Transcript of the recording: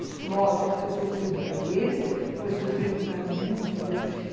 Isso, lógico, foi sofrido para eles, foi sofrido para mim, entendeu?